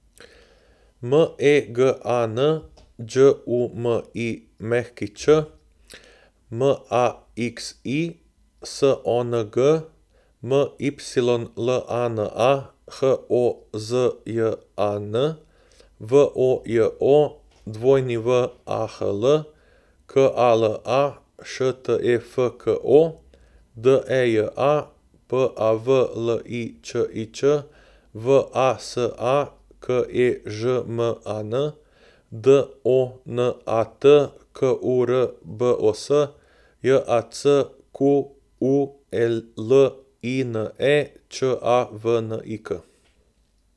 M E G A N, Đ U M I Ć; M A X I, S O N G; M Y L A N A, H O Z J A N; V O J O, W A H L; K A L A, Š T E F K O; D E J A, P A V L I Č I Č; V A S A, K E Ž M A N; D O N A T, K U R B O S; J A C Q U E L I N E, Č A V N I K.